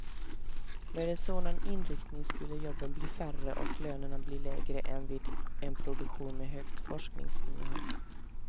Med en sådan inriktning skulle jobben bli färre och lönerna bli lägre än vid en produktion med högt forskningsinnehåll.